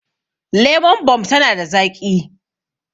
Lemon Bomb tana da zaƙi